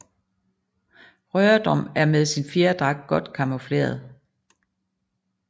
Rørdrum er med sin fjerdragt godt camoufleret